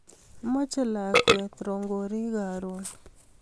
Mache lakwet rongorik karun